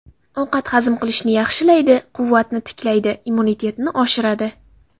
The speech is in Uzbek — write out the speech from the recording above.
Ovqat hazm qilishni yaxshilaydi, quvvatni tiklaydi, immunitetni oshiradi.